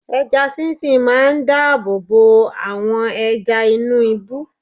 Ẹja sí sìn máa dáàbò bo àwọn ẹja inú ibú.